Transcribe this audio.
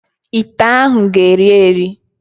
Ite ahụ ga-eyi eyi.